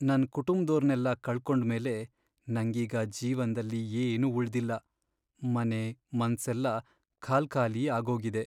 ನನ್ ಕುಟುಂಬ್ದೋರ್ನೆಲ್ಲ ಕಳ್ಕೊಂಡ್ಮೇಲೆ ನಂಗೀಗ ಜೀವನ್ದಲ್ಲಿ ಏನೂ ಉಳ್ದಿಲ್ಲ, ಮನೆ , ಮನ್ಸೆಲ್ಲ ಖಾಲ್ಕಾಲಿ ಆಗೋಗಿದೆ.